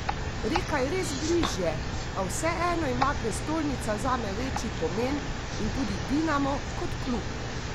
Reka je res bližje, a vseeno ima prestolnica zame večji pomen in tudi Dinamo kot klub.